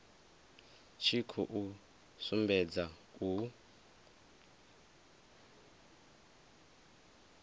tshi khou sumbedza u